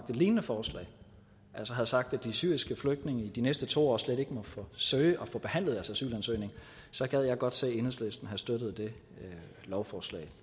lignende forslag altså havde sagt at de syriske flygtninge i de næste to år slet ikke måtte søge og få behandlet deres asylansøgning så gad jeg godt se om enhedslisten havde støttet det lovforslag